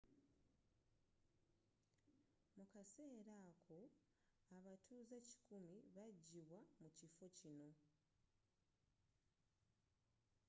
mu kaseera ako abatuuze kikumi 100 bagyibwa mu kifo kino